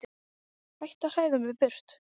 Hættu að hræða mig burt.